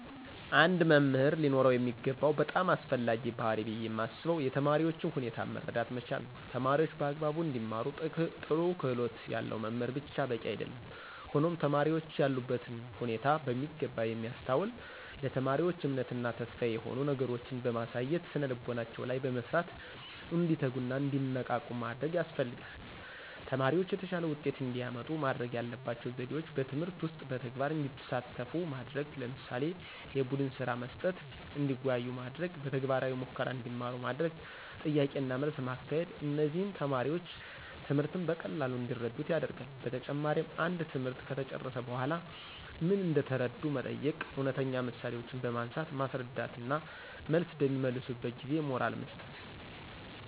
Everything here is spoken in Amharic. አንድ መምህር ሊኖረው የሚገባው በጣም አስፈላጊው ባህሪይ ብየ ማስበው የተማሪዎችን ሁኔታ መረዳት መቻል ነዉ። ተማሪዎች በአግባቡ እንዲማሩ ጥሩ ክህሎት ያለው መምህር ብቻ በቂ አይደለም ሆኖም ተማሪዎችን ያሉበትን ሁኔታ በሚገባ የሚያስተውል፣ ለተማሪዎች እምነት እና ተስፋ የሚሆኑ ነገሮችን በማሳየት ስነልቦናቸው ላይ በመስራት እንዲተጉና እንዲነቃቁ ማድረግ ያስፈልጋል። ተማሪዎች የተሻለ ውጤት እንዲያመጡ ማድረግ ያለባቸው ዘዴዎች በትምህርት ውስጥ በተግባር እንዲሳተፉ ማድረግ ለምሳሌ፦ የቡድንስራ መስጠት፣ እንዲወያዩ ማድረግ፣ በተግባራዊ ሙከራ እንዲማሩ ማድረግ፣ ጥያቄና መልስ ማካሄድ እነዚህም ተማሪዎች ትምህርትን በቀላሉ እንዲረዱት ያደርጋል። በተጨማሪም አንድ ትምህርት ከተጨረሰ በኃላ ምን እንደተረዱ መጠየቅ፣ እውነተኛ ምሳሌዎችን በማንሳት ማስረዳት እና መልስ በሚመልሱበት ጊዜ ሞራል መስጠት።